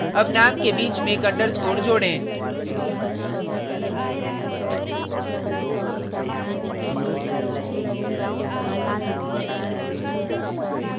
add name के बीच में एक underscore जोडें